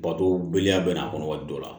Bato beleya bɛ n'a kɔnɔ waati dɔ la